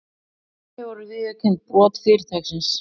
Í henni voru viðurkennd brot fyrirtækisins